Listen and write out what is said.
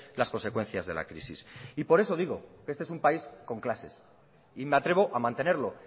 las consecuencias de la crisis y por eso digo que este es un país con clases y me atrevo a mantenerlo